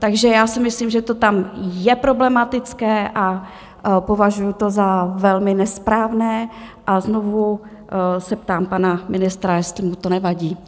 Takže já si myslím, že to tam je problematické, a považuji to za velmi nesprávné a znovu se ptám pana ministra, jestli mu to nevadí.